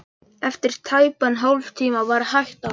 Eftir tæpan hálftíma var hægt á.